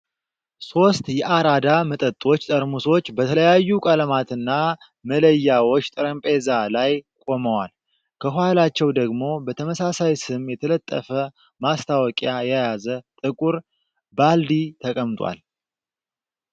ሦስት የ'አራዳ' መጠጦች ጠርሙሶች በተለያዩ ቀለማትና መለያዎች ጠረጴዛ ላይ ቆመዋል። ከኋላቸው ደግሞ በተመሳሳይ ስም የተለጠፈ ማስታወቂያ የያዘ ጥቁር ባልዲ ተቀምጧል።